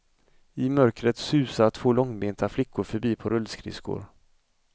I mörkret susar två långbenta flickor förbi på rullskridskor.